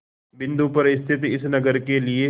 बिंदु पर स्थित इस नगर के लिए